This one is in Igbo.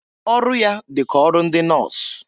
Ọrụ ya dị ka ọrụ ndị nọs.